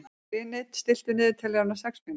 Hlini, stilltu niðurteljara á sex mínútur.